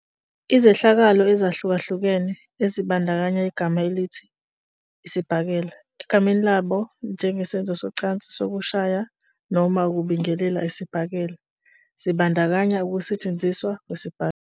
Izehlakalo ezahlukahlukene, ezibandakanya igama elithi "isibhakela" egameni labo njengesenzo socansi sokushaya noma ukubingelela isibhakela, zibandakanya ukusetshenziswa kwesibhakela.